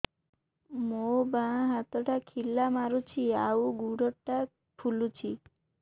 ମୋ ବାଆଁ ହାତଟା ଖିଲା ମାରୁଚି ଆଉ ଗୁଡ଼ ଟା ଫୁଲୁଚି